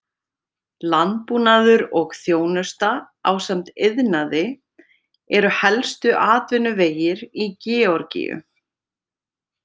Landbúnaður og þjónusta ásamt iðnaði eru helstu atvinnuvegir í Georgíu.